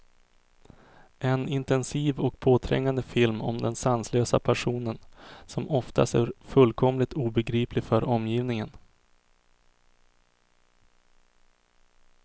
En intensiv och påträngande film om den sanslösa passionen, som ofta är fullkomligt obegriplig för omgivningen.